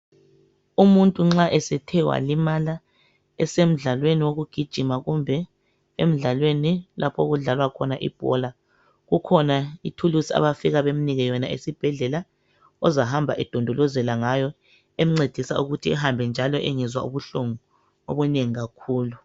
Umuntu nxa esthe walimala esemdlalweni wokugijima kumbe emdlalweni lapho okudlalwa khona ibhola kukhona ithulusi abafika bamnike yona esibhedlela ozahamba edondolozela ngayo emncedisa ukuthi ehambe njalo engezwa ubuhlungu obunengi kakhulu.